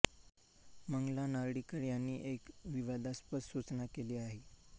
मंगला नारळीकर यांनी एक विवादास्पद सूचना केली आहे